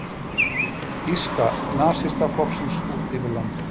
Þýska nasistaflokksins út yfir landið.